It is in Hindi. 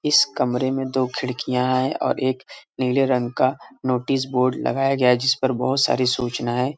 इस कमरे में दो खिड़कियां हैं और एक नीले रंग का नोटिस बोर्ड लगाया गया है जिस पर बहोत सारी सूचनाए --